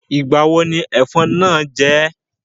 Ìgbà wo ni ẹ̀fọn náà jẹ́ ẹ́?